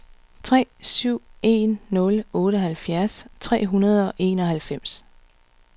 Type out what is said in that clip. tre syv en nul otteoghalvfjerds tre hundrede og enoghalvfems